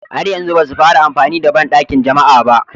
Har yanzu ba su fara amfani da bandakin jama'a ba